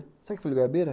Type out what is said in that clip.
Sabe que folha de goiabeira?